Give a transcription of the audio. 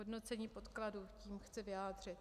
Hodnocení podkladů, tím chci vyjádřit.